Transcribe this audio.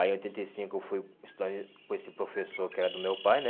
Aí em oitenta e cinco eu fui estudar em com esse professor que era do meu pai, né?